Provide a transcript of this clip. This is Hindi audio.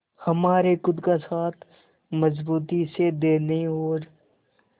हमारे खुद का साथ मजबूती से देने और